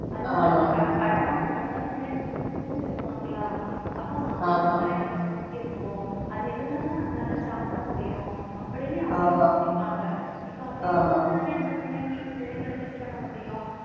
படமா கொண்டு வந்தா பிள்ளைங்க கொஞ்சம் புரிஞ்சுக்கிடுவாங்களா அப்போ விவசாயம் நமக்கு முக்கியத்துவம் அது இருந்தாதான் நம்மளால சாப்பிட முடியும் அப்படின்னு அவங்க யோசிப்பாங்க இப்ப அப்படி யோசிச்சாதானே அந்தப் பிள்ளைங்க பிள்ளைங்களுக்கு இது பண்ண முடியும்.